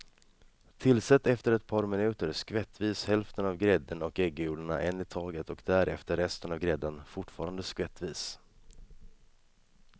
Tillsätt efter ett par minuter skvättvis hälften av grädden och äggulorna en i taget och därefter resten av grädden, fortfarande skvättvis.